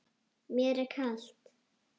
Mér er kalt.